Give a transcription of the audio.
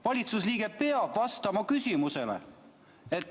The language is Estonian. Valitsusliige peab vastama küsimusele.